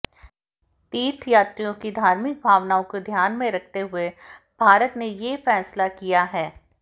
तीर्थयात्रियों की धार्मिक भावनाओं को ध्यान में रखते हुए भारत ने ये फैसला किया है